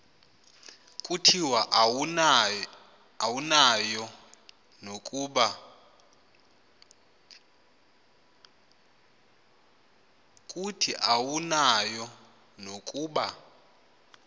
kuthi awunayo nokuba